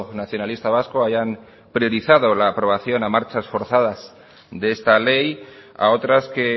nacionalista vasco hayan priorizado la aprobación a marchas forzadas de esta ley a otras que